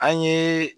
An ye